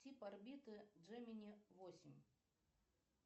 тип орбиты джемини восемь